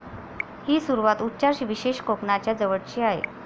ही सुरुवात उच्चार विशेष कोकणाच्या जवळची आहे